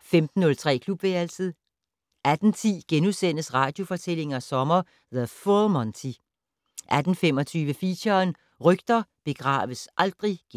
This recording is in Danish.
15:03: Klubværelset 18:10: Radiofortællinger sommer: The Full Monty! * 18:25: Feature: Rygter begraves aldrig *